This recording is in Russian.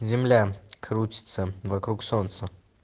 земля крутится вокруг солнца